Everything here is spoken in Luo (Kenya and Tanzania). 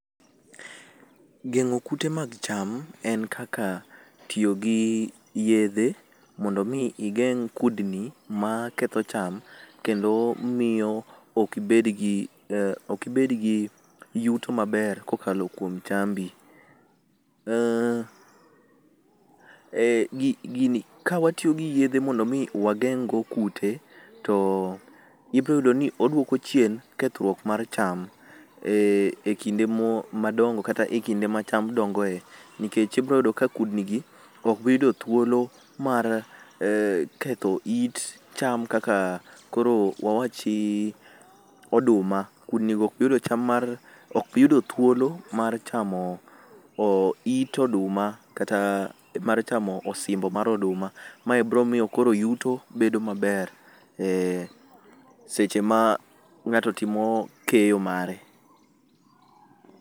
Geng'o kute mag cham en kaka tio gi yedhe mondo mi igeng' kudni maketho cham, kendo mio okibed gi uh okibed gi yuto maber kokalo kuom chambi. Uh eh gi gini kawatio gi yedhe mondo mi wageng'go kute, to ibro yudo ni oduoko chien kethrwuok mar cham eh e kinde mo madongo kata e kinde ma cham dongoe, nikech ibro yudo ka kudnigi okbiyudo thuolo mar eh ketho it cham kaka koro wawachi ii oduma, kudnigo okbiyudo cham, okbiyudo thuolo mar chamo o it oduma kata mar chamo osimbo mar oduma. Mae bro mio yuto koro bedo maber eh seche ma ng'ato timo keyo mare.